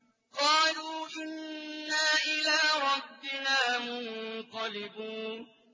قَالُوا إِنَّا إِلَىٰ رَبِّنَا مُنقَلِبُونَ